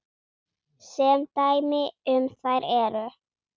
Sem dæmi um þær eru